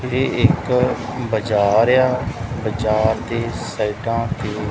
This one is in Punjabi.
ਇਹ ਇੱਕ ਬਾਜ਼ਾਰ ਆ ਬਾਜ਼ਾਰ ਦੇ ਸਾਈਡਾ ਤੇ--